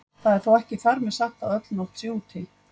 Það er þó ekki þar með sagt að öll nótt sé úti.